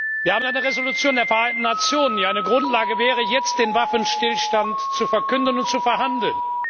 Wir haben eine Resolution der Vereinten Nationen, die eine Grundlage wäre, jetzt den Waffenstillstand zu verkünden und zu verhandeln.